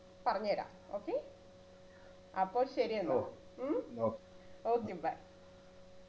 പറഞ്ഞരാം okay അപ്പൊ ശെരിയെന്നാൽ ഉം okay bye